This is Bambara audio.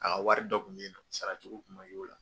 A ka wari dɔ kun bɛ yen nɔ, sara cogo kun ma y'o la.